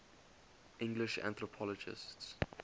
english anthropologists